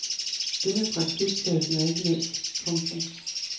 Det med praktikpladsen er ikke nemt. punktum